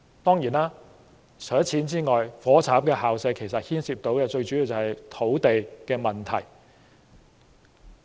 當然，除了金錢之外，"火柴盒校舍"問題最主要牽涉的便是土地。